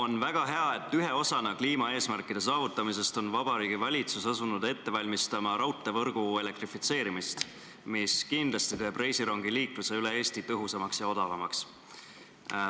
On väga hea, et ühe osana kliimaeesmärkide saavutamisest on Vabariigi Valitsus asunud ette valmistama raudteevõrgu elektrifitseerimist, mis kindlasti teeb reisirongiliikluse üle Eesti tõhusamaks ja odavamaks.